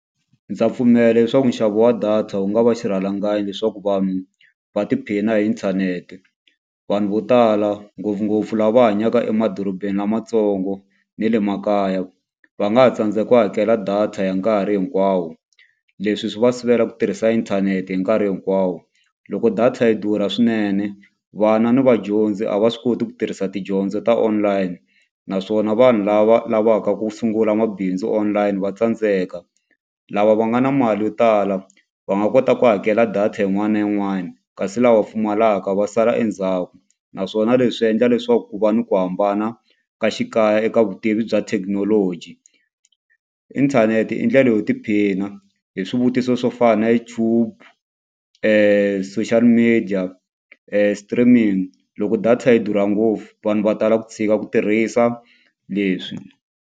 Ndza pfumela leswaku nxavo wa data wu nga va xirhalanganyi leswaku vanhu va tiphina hi inthanete. Vanhu vo tala ngopfungopfu lava hanyaka emadorobeni lamatsongo na le makaya, va nga ha tsandzeka ku hakela data ya nkarhi hinkwawo. Leswi swi va sivela ku tirhisa inthanete hi nkarhi hinkwawo. Loko data yi durha swinene, vana ni vadyondzi a va swi koti ku tirhisa tidyondzo ta online. Naswona vanhu lava lavaka ku sungula mabindzu online va tsandzeka. Lava va nga na mali yo tala va nga kota ku hakela data yin'wana na yin'wana, kasi lava va pfumalaka va sala endzhaku. Naswona leswi endla leswaku ku va ni ku hambana ka xikaya eka vutivi bya thekinoloji. Inthanete i ndlela yo tiphina hi swivutiso swo fana na YouTube social media streaming. Loko data yi durha ngopfu vanhu va tala ku tshika ku tirhisa leswi.